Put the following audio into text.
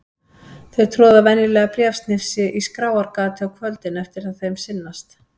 Þau troða venjulega bréfsnifsi í skráargatið á kvöldin eftir að þeim sinnast.